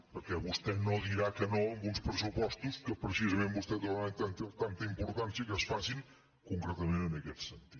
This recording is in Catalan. perquè vostè no dirà que no a uns pressupostos que precisament vostès donen tanta importància al fet que es facin concretament en aquest sentit